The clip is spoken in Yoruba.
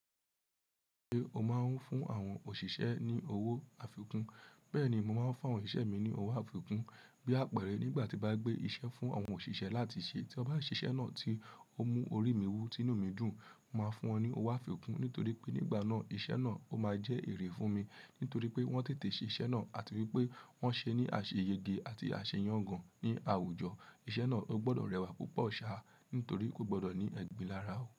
Ṣé o máa ń fún àwọn òṣìṣẹ́ ní owó àfikún? Bẹ́ẹ̀ni, mo máa ń fún àwọn òṣìṣẹ́ mi ní owó àfikún. Bí àpẹẹrẹ, nígbà tí bá gbé iṣẹ́ fún àwọn òṣìṣẹ́ láti ṣe, tí wọ́n bá ṣiṣẹ́ náà tí ó mú orí mi wú tí inú mi dùn, màá fún wọn ní owó àfikún. Nítorí pé nígbà náà, iṣẹ́ náà ó máa jẹ́ èrè fún mi. Nítorí pé wọ́n tètè ṣe iṣẹ́ náà àti wípé wọ́n ṣe é ní àṣeyẹge àti àṣeyọ́n gan-an ní àwùjọ. Iṣẹ́ náà ó gbọ́dọ̀ rẹwà púpọ̀ ṣá nítorí kò gbọ́dọ̀ ní ẹgbin lára.